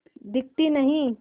दिखती नहीं